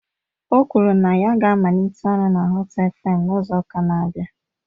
O kwuru na ya ga-amalite ọrụ na Họt eFem n'izu ụka na-abịa.